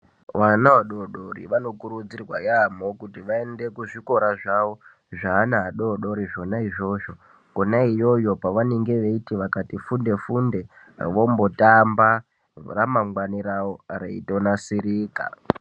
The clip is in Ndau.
Vana vadoodori vanokurudzirwa yamho kuti vaende kuzvikora zvawo zveana adodori zvona izvozvo kona iyoyo kwavanenge veiti vakati funde funde vombotamba ramangwani ravo reindonasirika